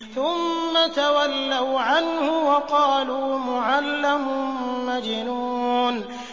ثُمَّ تَوَلَّوْا عَنْهُ وَقَالُوا مُعَلَّمٌ مَّجْنُونٌ